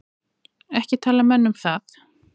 Ekki tala menn um það.